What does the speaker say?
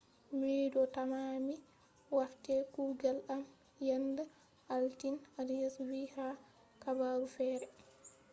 ‘’mido tamma mi wartai kuugal am yenda altine’’arias vi ha habaru fere